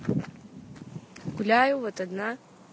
гуляю вот одна